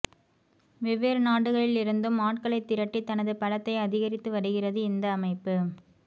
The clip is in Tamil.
வெவ்வேறு நாடுகளில் இருந்தும் ஆட்களைத் திரட்டி தனது பலத்தை அதிகரித்து வருகிறது இந்த அமைப்பு